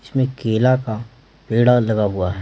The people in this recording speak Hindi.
इसमें केला का पेड़ा लगा हुआ है।